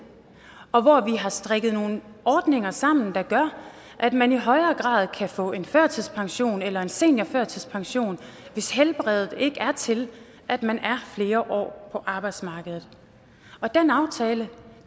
og hvor vi har strikket nogle ordninger sammen der gør at man i højere grad kan få en førtidspension eller en seniorførtidspension hvis helbredet ikke er til at man er flere år på arbejdsmarkedet den aftale